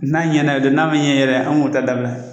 N'a ɲɛna o don n'a ma ɲɛ yɛrɛ an b'o ta dabila.